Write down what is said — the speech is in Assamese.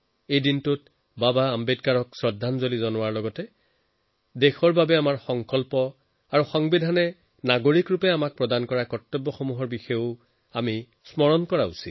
এই দিনটো বাবা চাহেবক শ্ৰদ্ধাঞ্জলি দিয়াৰ লগতে দেশৰ প্ৰতি নিজৰ সংকল্প সংবিধানে এজন নাগৰিক হিচাপে নিজৰ কৰ্তব্য পালন কৰাৰ যি শিক্ষা আমাক দিছে তাক ৰোমন্থন কৰাৰ